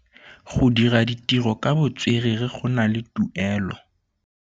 Go dira ditirô ka botswerere go na le tuelô.